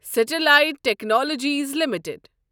Sterlite technologies limited